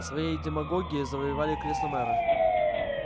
своей демагогией завоевали кресло мэра